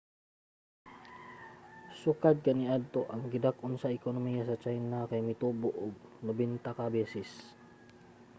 sukad kaniadto ang gidak-on sa ekonomiya sa china kay mitubo sa 90 ka beses